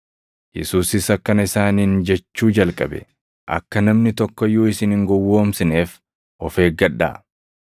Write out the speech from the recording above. Yesuusis akkana isaaniin jechuu jalqabe; “Akka namni tokko iyyuu isin hin gowwoomsineef of eeggadhaa.